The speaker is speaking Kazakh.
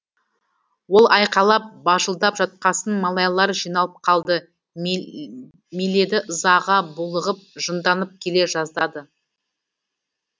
ол айқайлап бажылдап жатқасын малайлар жиналып қалды миледи ызаға булығып жынданып келе жаздады